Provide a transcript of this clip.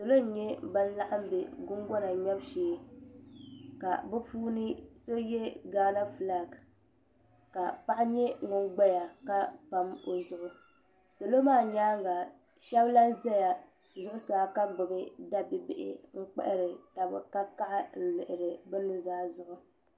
Salo n nyɛ ban laɣam bɛ gungona ŋmɛbu shee ka bi puuni so yɛ gaana fulak ka paɣa nyɛ ŋun gbaya ka pam o zuɣu salo maa nyaanga shab lahi ʒɛ zuɣusaa ka gbubi da bibihi n kpahari taba ka kaɣa n lihiri bi nuzaa zuɣu